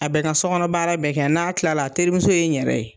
A bɛ n ka so kɔnɔ baara bɛɛ kɛ, n'a tilala a terimuso ye n yɛrɛ ye.